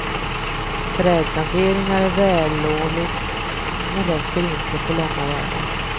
Trädplanteringar är vällovligt men räcker inte på långa vägar.